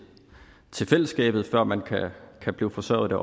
til fællesskabet før man kan blive forsørget af